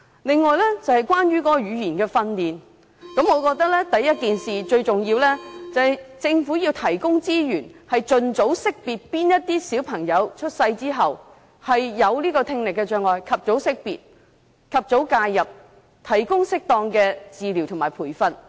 再者，關於語言訓練，我覺得最重要的是政府要提供資源，盡快識別哪些小朋友出生之後有聽力障礙，及早介入，提供適當的治療及培訓。